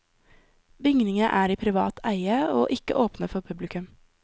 Bygningene er i privat eie, og ikke åpne for publikum.